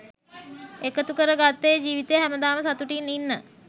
එකතු කර ගත්තේ ජීවිතේ හැමදාම සතුටින් ඉන්න